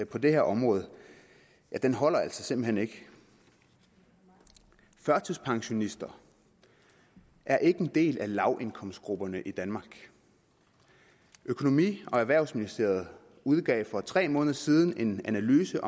på det her område den holder altså simpelt hen ikke førtidspensionister er ikke en del af lavindkomstgrupperne i danmark økonomi og erhvervsministeriet udgav for tre måneder siden en analyse